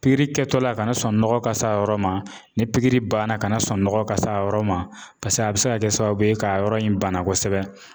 Pikiri kɛtɔla kana sɔn nɔgɔ ka se a yɔrɔ ma ni pikiri banna kana sɔn nɔgɔ ka se a yɔrɔ ma paseke a bɛ se ka kɛ sababu ye k'a yɔrɔ in bana kosɛbɛ.